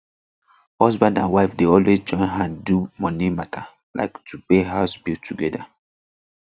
husband and wife dey always join hand do money mata like to pay house bill together